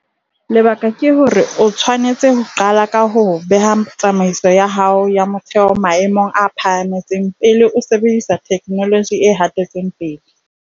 Lebaka ke hore o tshwanetse ho qala ka ho beha tsamaiso ya hao ya motheho maemong a phahameng pele o sebedisa theknoloji e hatetseng pele.